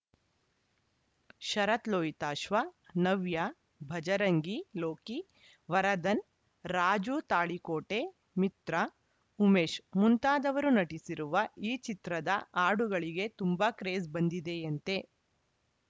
ಶರತ್‌ ಲೋಹಿತಾಶ್ವ ನವ್ಯ ಭಜರಂಗಿ ಲೋಕಿ ವರದನ್‌ ರಾಜುತಾಳಿಕೋಟೆ ಮಿತ್ರ ಉಮೇಶ್‌ ಮುಂತಾದವರು ನಟಿಸಿರುವ ಈ ಚಿತ್ರದ ಹಾಡುಗಳಿಗೆ ತುಂಬಾ ಕ್ರೇಜ್‌ ಬಂದಿದೆಯಂತೆ